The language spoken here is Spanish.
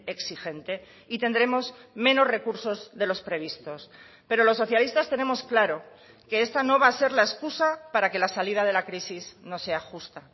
exigente y tendremos menos recursos de los previstos pero los socialistas tenemos claro que esta no va a ser la excusa para que la salida de la crisis no sea justa